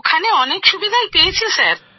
ওখানে অনেক সুবিধেই পেয়েছি স্যার